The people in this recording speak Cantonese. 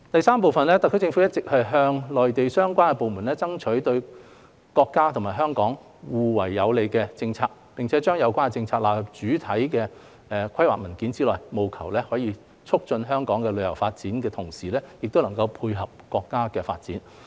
三特區政府一直向內地相關部門爭取對國家及香港互為有利的政策，並將有關政策納入主要規劃文件內，務求在促進香港的旅遊發展的同時亦能配合國家的發展。